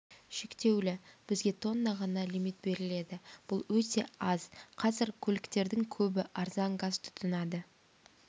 шектеулі бізге тонна ғана лимит беріледі бұл өте аз қазір көліктердің көбі арзан газ тұтынады